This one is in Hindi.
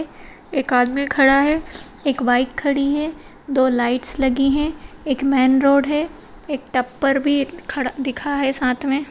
एक आदमी खड़ा है एक बाइक खड़ी है दो लाइट्स लगी हैं एक मेन रोड है एक टप्पर भी खड़ा दिखा है साथ में।